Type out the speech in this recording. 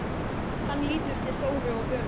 Hann lítur til Þóru og Völu.